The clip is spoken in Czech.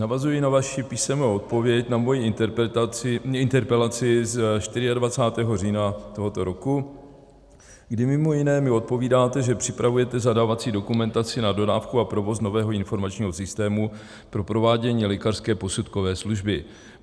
Navazuji na vaši písemnou odpověď na moji interpelaci z 24. října tohoto roku, kdy mimo jiné mi odpovídáte, že připravujete zadávací dokumentaci na dodávku a provoz nového informačního systému pro provádění lékařské posudkové služby.